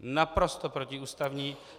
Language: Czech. Naprosto protiústavní.